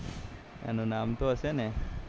એનું નામ તો હશે ને